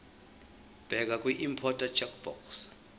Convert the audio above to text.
bheka kwiimporter checkbox